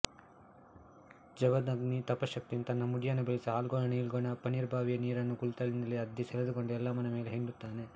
ಜಮದಗ್ನಿ ತಪಶ್ಯಕ್ತಿಯಿಂದ ತನ್ನ ಮುಡಿಯನ್ನು ಬೆಳೆಸಿ ಹಾಲ್ಗೋಣ ನೀಲ್ಗೊಣ ಪನ್ನೀರ್ಬಾವಿಯ ನೀರನ್ನು ಕುಳಿತಲ್ಲಿಂದಲೇ ಅದ್ದಿ ಸೆಳೆದುಕೊಂಡು ಎಲ್ಲಮ್ಮನ ಮೇಲೆ ಹಿಂಡುತ್ತಾನೆ